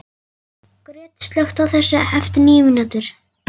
Gret, slökktu á þessu eftir níu mínútur.